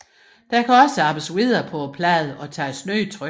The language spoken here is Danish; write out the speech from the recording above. Der kan også arbejdes videre på pladen og tages nye tryk